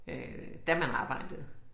Øh da man arbejdede